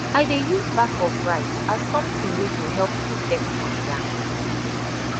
i dey use back of rice as sometin wey go help protect my yam